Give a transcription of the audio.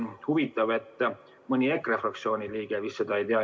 Huvitav, et mõni EKRE fraktsiooni liige seda ei tea.